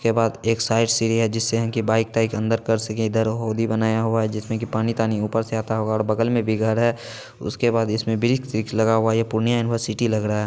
इसके बाद एक साइड सीढ़ी है जिससे इनकी बाइक - ताइक अंदर कर सके| इधर होड़ी बनाया हुआ है जिसमे की पानी-तानी ऊपर से आता होगा और बगल में भी घर है| उसके बाद इसमें ब्रिक्स - विक्स लगा हुआ है यह पूर्णिया यूनिवर्सिटी लग रहा है।